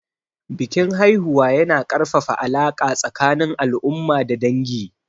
Bikin haihuwa yana ƙarfafa alaƙa tsakanin al'umma da dangi.